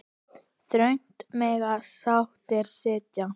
Þröngt mega sáttir sitja.